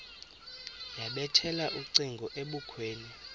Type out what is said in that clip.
yabethela ucingo ebukhweni